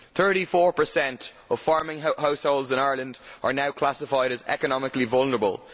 Thirty four percent of farming households in Ireland are now classified as economically vulnerable.